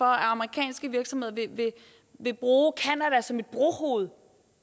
amerikanske virksomheder vil bruge canada som et brohoved